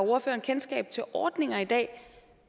ordføreren kendskab til ordninger i dag